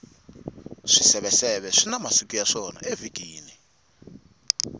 swiseveseve swina masiku ya swona evhikini